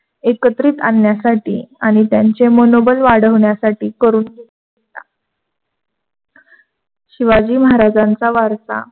एकत्रित आण्यास्ठीआणि त्यांचे मनोबल वाढविण्यासाठी करून शिवाजी महाराजांचा वारसा